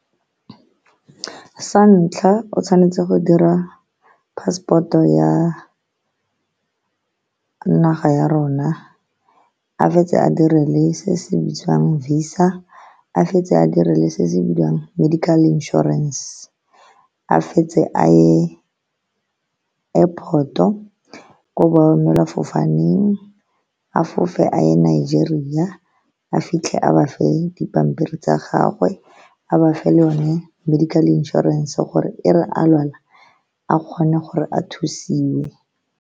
Sa ntlha, o tshwanetse go dira passport-o ya naga ya rona, a fetse a dire le se se bitswang visa, a fetse a dire le se se bidiwang medical insurance, a fetse a ye airport-o, ko bo emela fofaneng, a fofe a ye Nigeria, a fitlhe a bafe dipampiri tsa gagwe, a bafe le o ne medical inšorense gore e re a lwala a kgone gore a thusiwe.